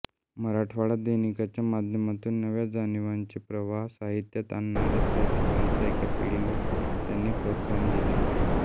मराठवाडा दैनिकाच्या माध्यमातून नव्या जाणिवांचे प्रवाह साहित्यात आणणाऱ्या साहित्यिकांच्या एका पिढीला त्यांनी प्रोत्साहन दिले